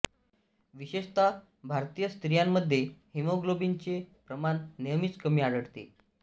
विशेषतः भारतीय स्त्रियांमध्ये हिमोग्लोबिनचे प्रमाण नेहमीच कमी आढळते